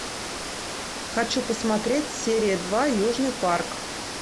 хочу посмотреть серия два южный парк